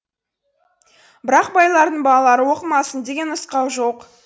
бірақ байлардың балалары оқымасын деген нұсқау жоқ